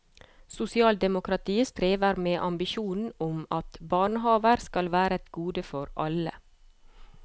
Sosialdemokratiet strever med ambisjonen om at barnehaver skal være et gode for alle.